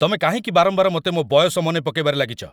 ତମେ କାହିଁକି ବାରମ୍ବାର ମତେ ମୋ' ବୟସ ମନେ ପକେଇବାରେ ଲାଗିଚ?